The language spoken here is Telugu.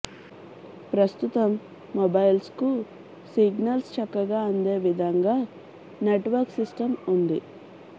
ప్రస్తుతం మొబైల్స్ కు సిగ్నల్స్ చక్కగా అందే విధంగా నెట్ వర్క్ సిస్టమ్ ఉంది